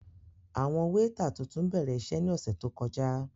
Awọn weeta tuntun bẹrẹ iṣe ni ọsẹ to kọja.